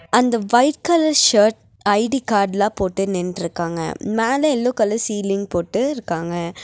அந்த white colour shirt ID கார்டுலாம் போட்டு நின்னுட்டுருக்காங்க மேல யெல்லோ கலர் சீலிங் போட்டு இருக்காங்க.